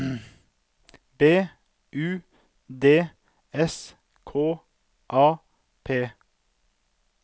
B U D S K A P